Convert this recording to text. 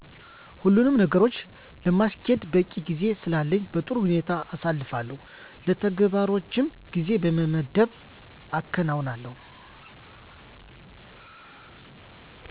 ሁሉኑም ነገሮች ለማስኬድ በቂ ጊዜ ስላለኝ በጥሩ ሁኔታ አሳልፋለሁ። ለተግባሮችም ጊዜ በመመደብ አከናዉናለሁ።